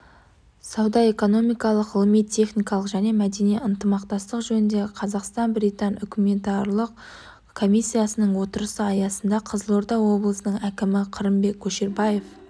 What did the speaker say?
сауда-экономикалық ғылыми-техникалық және мәдени ынтымақтастық жөніндегі қазақстан-британ үкіметаралық комиссиясының отырысы аясында қызылорда облысының әкімі қырымбек көшербаев